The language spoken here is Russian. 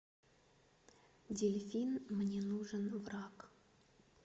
дельфин мне нужен враг